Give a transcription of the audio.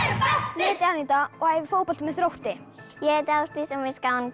ég heiti Aníta og æfi fótbolta með Þrótti ég heiti Ásdís og mér finnst gaman